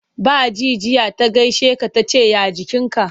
Ba ji jiya ta gaishe ka ta ce ya jikinka.